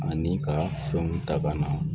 Ani ka fɛnw ta ka na